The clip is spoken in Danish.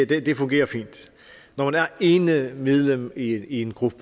det det fungerer fint når man er ene medlem i en gruppe